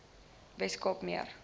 wes kaap meer